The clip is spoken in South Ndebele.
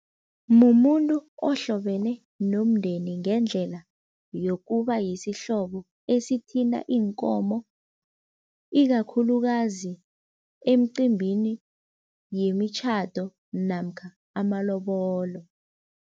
Mumuntu ohlobene nomndeni ngendlela yokuba yisihlobo esithinta iinkomo, ikakhulukazi emcimbini yemitjhado namkha amalobolo.